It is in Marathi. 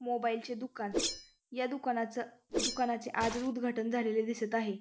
मोबाइल चे दुकान या दुकानाचं दुकानाचे आज उदघाटन झालेलं दिसत आहे.